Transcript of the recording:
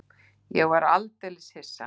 Ég er svo aldeilis hissa.